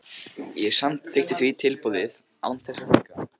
Ég samþykkti því tilboðið án þess að hika.